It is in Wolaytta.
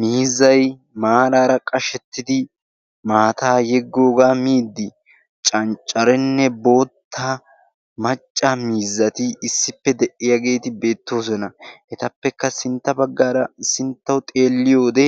miizzai maaraara qashettidi maataa yiggoogaa miidi canccarenne bootta macca miizzati issippe de7iyaageeti beettoosona etappekka sintta baggaara sinttau xeelliyoode